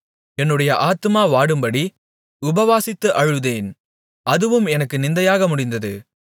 என்னுடைய ஆத்துமா வாடும்படி உபவாசித்து அழுதேன் அதுவும் எனக்கு நிந்தையாக முடிந்தது